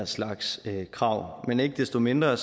slags krav men ikke desto mindre